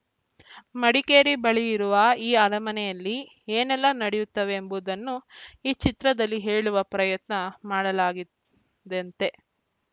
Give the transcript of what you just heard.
ಮಡಿಕೇರಿ ಬಳಿ ಇರುವ ಈ ಅರಮನೆಯಲ್ಲಿ ಏನೆಲ್ಲ ನಡೆಯುತ್ತವೆ ಎಂಬುದನ್ನು ಈ ಚಿತ್ರದಲ್ಲಿ ಹೇಳುವ ಪ್ರಯತ್ನ ಮಾಡಲಾಗಿದೆಯಂತೆ